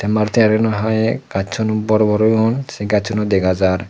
te maruti gari gano hi gachun bor bor oyun se gachun u dega jar.